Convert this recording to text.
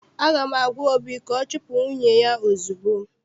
Aga m agwa obi ka ọ chupu nwunye ya ozugbo!